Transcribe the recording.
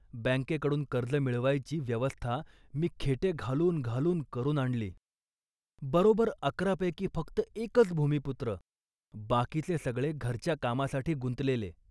बँकेकडून कर्ज मिळवायची व्यवस्था मी खेटे घालून घालून करून आणली. बरोबर अकरापैकी फक्त एकच भूमिपुत्र, बाकीचे सगळे घरच्या कामासाठी गुंतलेले